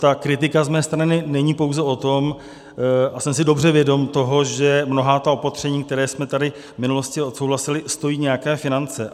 Ta kritika z mé strany není pouze o tom - a jsem si dobře vědom toho, že mnohá ta opatření, která jsme tady v minulosti odsouhlasili, stojí nějaké finance.